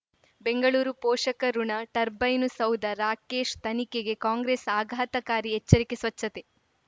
ಬೆಂಗಳೂರು ಪೋಷಕಋಣ ಟರ್ಬೈನು ಸೌಧ ರಾಕೇಶ್ ತನಿಖೆಗೆ ಕಾಂಗ್ರೆಸ್ ಆಘಾತಕಾರಿ ಎಚ್ಚರಿಕೆ ಸ್ವಚ್ಛತೆ